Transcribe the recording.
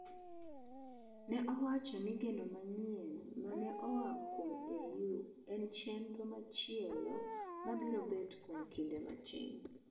Ne owacho ni geno manyien ma ne oa kuom EU en chenro machielo ma biro bet kuom kinde matin